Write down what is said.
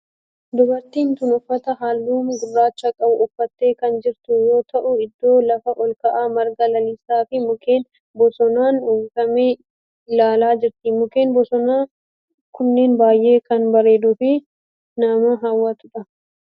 Dubartin tun uffata halluu gurraacha qabu uffattee kan jirtu yoo ta'u iddoo lafa olka'aa marga lalisaa fi mukkeen bosonaan uwwifame ilaalaa jirti. Mukkeen bosonaa kunneen baayyee kan bareeduu fi nama hawwatudha.